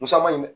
Musa ma ɲin dɛ